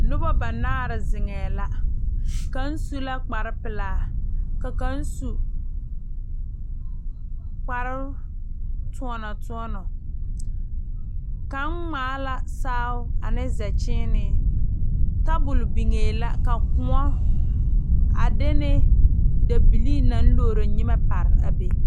Nobɔ banaare zeŋɛɛ la kaŋ su la kparepelaa ka kaŋ su kpare toɔnɔ toɔnɔ kaŋ ngmaa la saao ane zɛkyiine tabole biŋee la ka kõɔ a de ne dabilii naŋ logro nyimɛ pare a be.